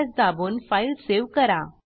Ctrl S दाबून file save करा